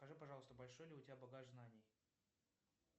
скажи пожалуйста большой ли у тебя багаж знаний